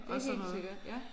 Det er helt sikkert ja